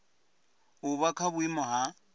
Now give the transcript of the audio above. u vha kha vhuiimo ha